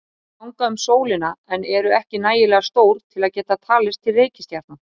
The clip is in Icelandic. Þau ganga um sólina en eru ekki nægilega stór til að geta talist til reikistjarna.